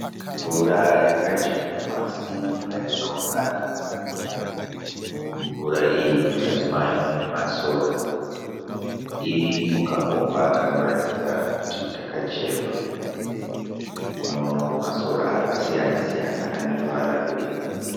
Mvura yakajenga pasi peyakaungana. Mumvura iyi mukati mayo mune masora. Iri mukakomba kanoratidza kuti kakacherwa. Tinoonawo masora akasiyana siyana ane ruvara rwe-